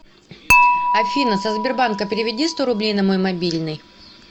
афина со сбербанка переведи сто рублей на мой мобильный